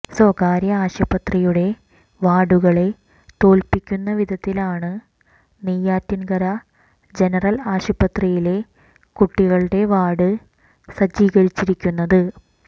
സ്വകാര്യ ആശുപത്രിയുടെ വാർഡുകളെ തോല്പിക്കുന്നവിധത്തിലാണ് നെയ്യാറ്റിൻകര ജനറൽ ആശുപത്രിയിലെ കുട്ടികളുടെ വാർഡ് സജ്ജീകരിച്ചിരിക്കുന്നത്